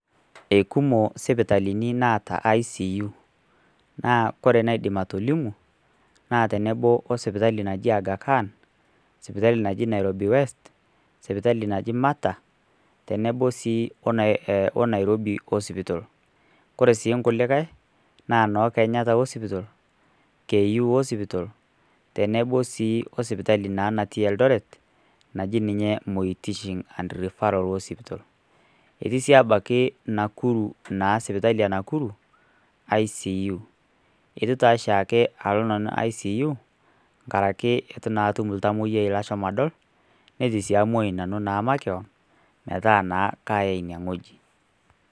eikumo sipitalini naata icu naa ore naidim atolimu naa teneboo oo sipitali naji Agha Khan sipitali naji Nairobi West sipitali naji mata tonobo sii o Nairobi Hospital kore sii nkulikai naa ono kenyatta hospital, Ku hospital tenebo sii sipitali naa nati eldoret naji ninye Moi teaching and referral hospital etii sii abaki Nakuru naa sipitali ee nakuru ICU, etu taa shaake alo nanu ICU ngarake etu shaake atum ltamoyai lashomo adol netuu sii amuai nanuu makeyon metaa naa kaayai inie nghojii.